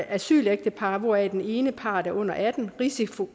asylægtepar hvoraf den ene part er under atten år risiko